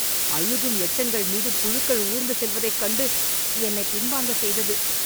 அழுகும் எச்சங்கள் மீது புழுக்கள் ஊர்ந்து செல்வதைக் கண்டு என்னைப் பின்வாங்க செய்தது.